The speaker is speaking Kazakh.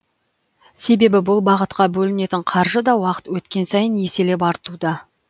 себебі бұл бағытқа бөлінетін қаржы да уақыт өткен сайын еселеп артуда